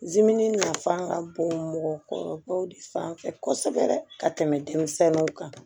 nafan ka bon mɔgɔkɔrɔbaw de fanfɛ kosɛbɛ dɛ ka tɛmɛ denmisɛnninw kan